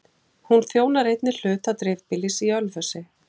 Hún þjónar einnig hluta dreifbýlis í Ölfusi